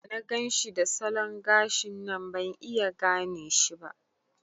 Da na ganshi da salon gashin nan ban iya gane shi ba.